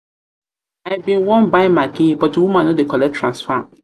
bin wan buy maggi but the woman no dey collect transfer